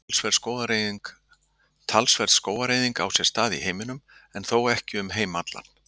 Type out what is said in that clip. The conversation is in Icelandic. Talsverð skógareyðing á sér stað í heiminum en þó ekki um heim allan.